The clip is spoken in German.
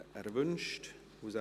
– Er wünscht es.